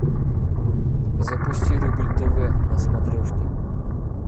запусти рубль тв на смотрешке